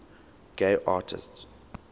gay artists